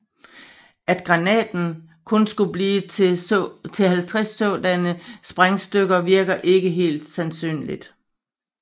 At granaten kun skulle blive til 50 sådanne sprængstykker virker heller ikke sandsynligt